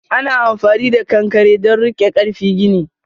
Ana amfani da ƙanƙare don rike karfi gini.